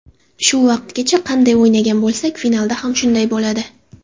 Shu vaqtgacha qanday o‘ynagan bo‘lsak, finalda ham shunday bo‘ladi.